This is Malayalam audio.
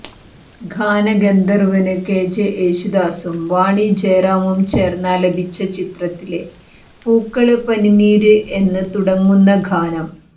ഗാനഗന്ധര്വ്വന് കെജെ യേശുദാസും വാണി ജയറാമും ചേര്ന്നാലപിച്ച ചിത്രത്തിലെ പൂക്കള് പനിനീര് എന്ന് തുടങ്ങുന്ന ഗാനം